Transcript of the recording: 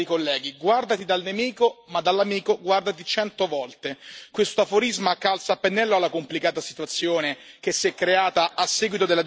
Questo aforisma calza a pennello alla complicata situazione che si è creata a seguito della decisione americana di ritirarsi unilateralmente dall'accordo sul nucleare iraniano.